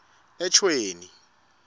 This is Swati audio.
eshweni